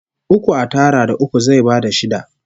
Uku a tara da uku zai bada shida